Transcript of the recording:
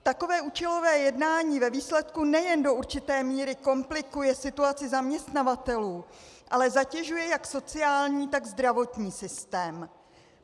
Takové účelové jednání ve výsledku nejen do určité míry komplikuje situaci zaměstnavatelů, ale zatěžuje jak sociální, tak zdravotní systém.